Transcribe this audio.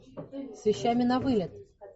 с вещами на вылет